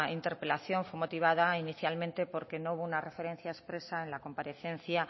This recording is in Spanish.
interpelación fue motivada inicialmente porque no hubo una referencia expresa en la comparecencia